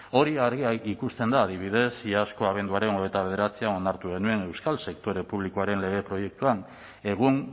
hori argi ikusten da adibidez iazko abenduaren hogeita bederatzian onartu genuen euskal sektore publikoaren lege proiektuan egun